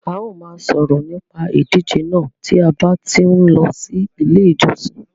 A ó ma sòrò nípa ìdíje náà ti a ba tí n ló ilé ìjosìn